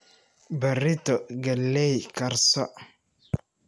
Barito galley karso.